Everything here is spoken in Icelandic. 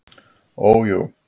Ó jú.